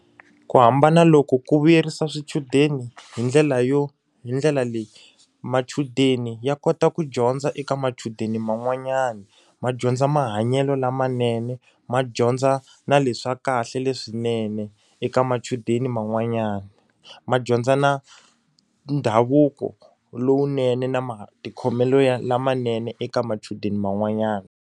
Ku hambana loku ku vuyerisa swichudeni hi ndlela yo hi ndlela leyi. Machudeni ya kota ku dyondza eka machudeni man'wanyana, ma dyondza mahanyelo lamanene, ma dyondza na leswa kahle leswinene eka machudeni man'wanyani. Ma dyondza na ndhavuko lowunene na matikhomelo lamanene eka machudeni man'wanyana.